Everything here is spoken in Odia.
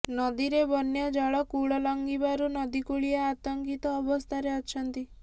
ନଦୀରେ ବନ୍ୟା ଜଳ କୂଳ ଲଙ୍ଗିବାରୁ ନଦୀକୂଳିଆ ଆତଙ୍କିତ ଅବସ୍ଥାରେ ଅଛନ୍ତି